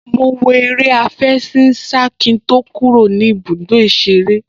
Mo wo eré àfẹṣinsá kí n tó kúrò ní ibùdó ìṣeré